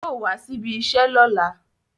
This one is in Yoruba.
Yóò wá síbi iṣẹ́ lọ́la.